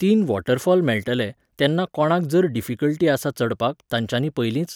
तीन वॉटरफॉल मेळटळे, तेन्ना कोणाक जर डिफिकल्टी आसा चडपाक, तांच्यानी पयलींच